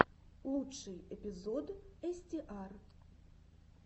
лучший эпизод эстиар